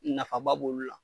Nafaba b'olu la